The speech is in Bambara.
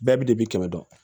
Bɛɛ bɛ de bɛ kɛmɛ dɔn